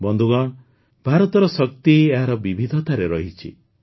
ବନ୍ଧୁଗଣ ଭାରତର ଶକ୍ତି ଏହାର ବିବିଧତାରେ ରହିଛି